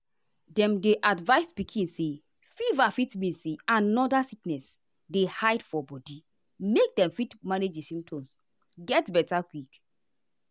dem dey advise pikin say fever fit mean say another sickness dey hide for body make dem fit manage di symptoms get beta quick.